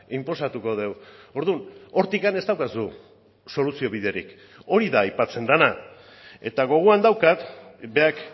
inposatuko dugu orduan hortik ez daukazu soluzio biderik hori da aipatzen dena eta gogoan daukat berak